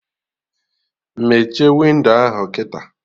Mechie windo ahụ kịta!